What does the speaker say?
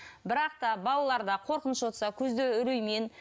бірақ та балаларда қорқыныш отырса көзде үреймен